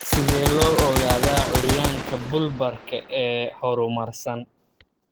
Sidee loo ogaadaa curyaanka bulbar-ka ee horumarsan?